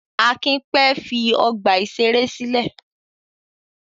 Akin pẹ́ fi ọgbà-ìṣeré sílẹ̀.